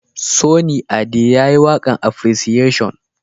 Sunny Ade ya yi waƙan appreciation